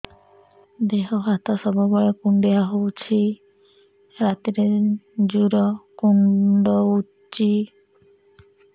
ଦେହ ହାତ ସବୁବେଳେ କୁଣ୍ଡିଆ ହଉଚି ରାତିରେ ଜୁର୍ କୁଣ୍ଡଉଚି